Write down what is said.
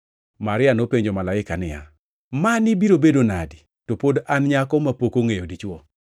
Maria nopenjo malaika niya, “Mani biro bedo nadi, to pod an nyako mapok ongʼeyo dichwo?”